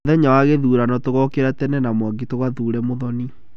Mũthenya wa gĩthurano tũgũkĩra tene na Mwangi tũgathure Mũthoni.